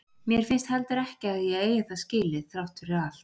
Mér finnst heldur ekki að ég eigi það skilið, þrátt fyrir allt.